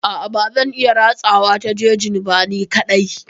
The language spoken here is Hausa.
A'a bazan iya ratsawa ta jejin ba ni kaɗai.